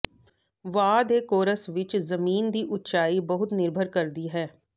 ਵਹਾਅ ਦੇ ਕੋਰਸ ਵਿੱਚ ਜ਼ਮੀਨ ਦੀ ਉਚਾਈ ਬਹੁਤ ਨਿਰਭਰ ਕਰਦੀ ਹੈ